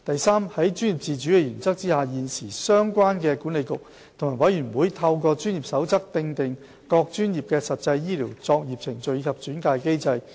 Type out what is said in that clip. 三在專業自主的原則下，現時相關管理局及委員會透過專業守則訂定各專業的實際醫療作業程序及轉介機制。